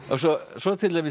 svo til dæmis